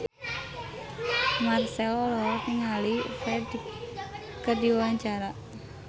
Marchell olohok ningali Ferdge keur diwawancara